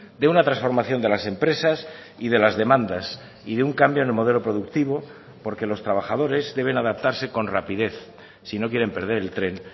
de una transformación de las empresas y de las demandas y de un cambio en el modelo productivo porque los trabajadores deben adaptarse con rapidez si no quieren perder el tren